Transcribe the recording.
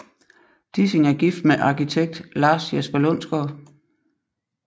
Dissing er gift med arkitekt Lars Jesper Lundsgaard